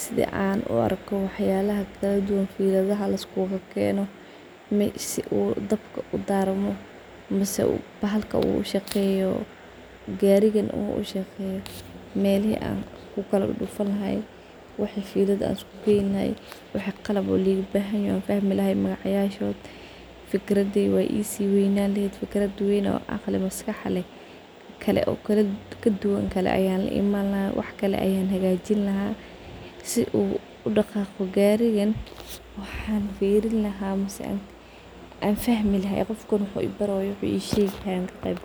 sidi an uarko waxyalaha kaladuwan sidi liskukakeno dabka uadarmo mise bahalka ushaqeyo garigan uu ushaqeyo melihi an kuddudfan lahaa , wixi qalab ligabahanyaho an ogaan lahaa maskaxdey weynan lehed kaladuwan kale an laiman lahaa si uu udaqaqo garigan waxan firin lahaa mise an fahmi lahaa qofki wax uu bari hayo ama ii shegayo.